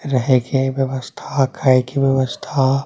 रहे के व्यवस्था खाए के व्यवस्था --